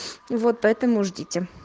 и вот поэтому ждите